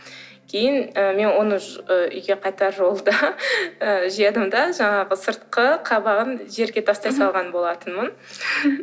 кейін ы мен оны үйге қайтар жолда жедім де жаңағы сыртқы қабығын жерге тастай салған болатынмын